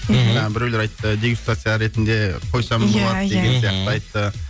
ммм біреулер айтты дегустация ретінде қойсаңыз иә иә болады деген сияқты айтты